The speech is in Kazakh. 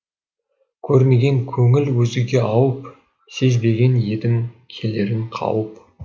көрмеген көңіл өзгеге ауып сезбеген едім келерін қауіп